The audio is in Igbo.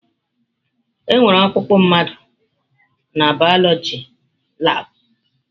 Enwere ọkpụkpụ mmadụ n'bioloji labụ.